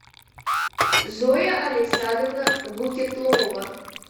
зоя александровна гукетлова